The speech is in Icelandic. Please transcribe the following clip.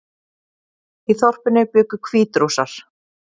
Í þorpinu bjuggu Hvítrússar